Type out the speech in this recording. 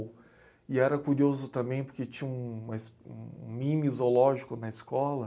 E era curioso também porque tinha uma es, um... mini zoológico na escola.